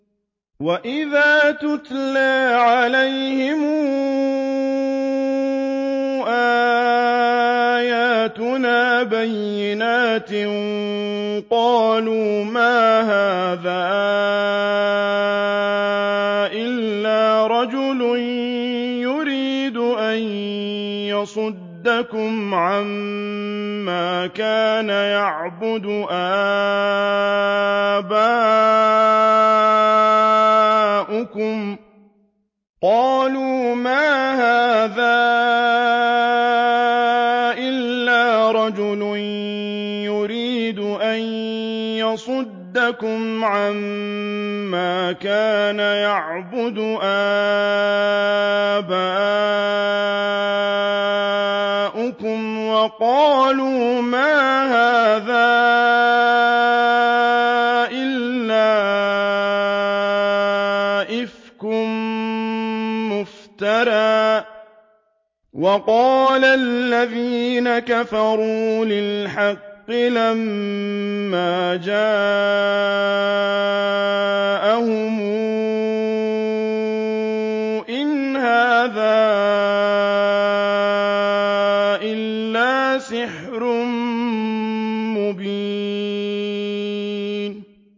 وَإِذَا تُتْلَىٰ عَلَيْهِمْ آيَاتُنَا بَيِّنَاتٍ قَالُوا مَا هَٰذَا إِلَّا رَجُلٌ يُرِيدُ أَن يَصُدَّكُمْ عَمَّا كَانَ يَعْبُدُ آبَاؤُكُمْ وَقَالُوا مَا هَٰذَا إِلَّا إِفْكٌ مُّفْتَرًى ۚ وَقَالَ الَّذِينَ كَفَرُوا لِلْحَقِّ لَمَّا جَاءَهُمْ إِنْ هَٰذَا إِلَّا سِحْرٌ مُّبِينٌ